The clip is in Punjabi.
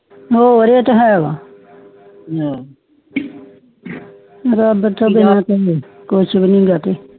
ਹੋਰ ਏ ਤੇ ਹੇਗਾ ਰਬ ਦਾ ਕੁਛ ਵੀ ਨਹੀਂ ਗਏ ਤੇ